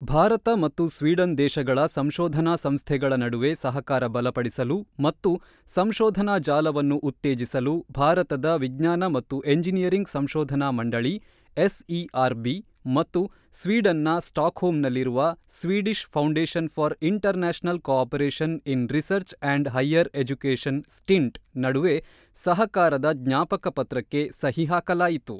ಭಾರತ ಮತ್ತು ಸ್ವೀಡನ್ ದೇಶಗಳ ಸಂಶೋಧನಾ ಸಂಸ್ಥೆಗಳ ನಡುವೆ ಸಹಕಾರ ಬಲಪಡಿಸಲು ಮತ್ತು ಸಂಶೋಧನಾ ಜಾಲವನ್ನು ಉತ್ತೇಜಿಸಲು ಭಾರತದ ವಿಜ್ಞಾನ ಮತ್ತು ಎಂಜಿನಿಯರಿಂಗ್ ಸಂಶೋಧನಾ ಮಂಡಳಿ ಎಸ್ಇಆರ್ ಬಿ ಮತ್ತು ಸ್ವೀಡನ್ ನ ಸ್ಟಾಕ್ಹೋಮ್ ನಲ್ಲಿರುವ Swedish foundation for international cooperation in research and higher education STINT ನಡುವೆ ಸಹಕಾರದ ಜ್ಞಾಪಕ ಪತ್ರಕ್ಕೆ ಸಹಿ ಹಾಕಲಾಯಿತು.